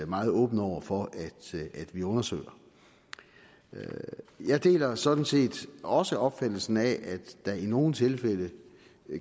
meget åben over for at vi undersøger jeg deler sådan set også opfattelsen af at der i nogle tilfælde